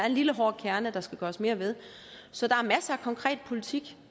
en lille hård kerne der skal gøres mere ved så der er masser af konkret politik